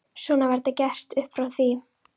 Svona var það gert upp frá því.